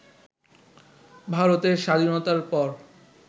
ভারতের স্বাধীনতার পর